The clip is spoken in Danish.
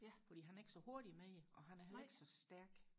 fordi han er ikke så hurtig med det og han er heller ikke så stærk